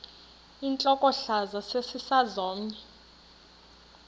intlokohlaza sesisaz omny